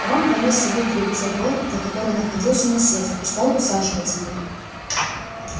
рон понёс сову к двери во двор за которой находился насест и стал усаживать её